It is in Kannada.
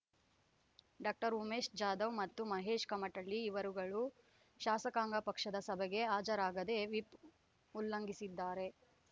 ಡಾಕ್ಟರ್ ಉಮೇಶ್ ಜಾಧವ್ ಮತ್ತು ಮಹೇಶ್ ಕಮಟಳ್ಳಿ ಇವರುಗಳು ಶಾಸಕಾಂಗ ಪಕ್ಷದ ಸಭೆಗೆ ಹಾಜರಾಗದೆ ವಿಪ್ ಉಲ್ಲಂಘಿಸಿದ್ದಾರೆ